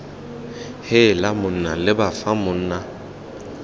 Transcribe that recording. heela monna leba fa monna